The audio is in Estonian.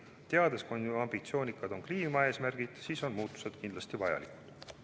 Me teame, kui ambitsioonikad on kliimaeesmärgid, ja nii on muutused kindlasti vajalikud.